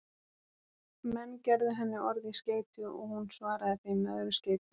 Menn gerðu henni orð í skeyti og hún svaraði þeim með öðru skeyti.